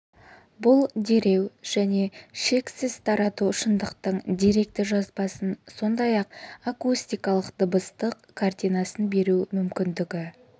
бұл дереу және шексіз тарату шындықтың деректі жазбасын сондай-ақ акустикалық дыбыстық картинасын беру мүмкіндігі